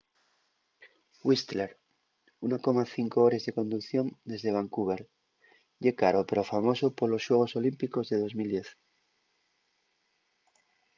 whistler 1,5 hores de conducción dende vancouver ye caro pero famoso polos xuegos olímpicos de 2010